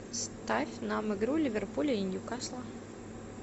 ставь нам игру ливерпуля и ньюкасла